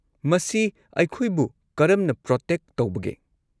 ꯃꯁꯤ ꯑꯩꯈꯣꯏꯕꯨ ꯀꯔꯝꯅ ꯄ꯭ꯔꯣꯇꯦꯛ ꯇꯧꯕꯒꯦ꯫